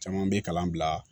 Caman bɛ kalan bila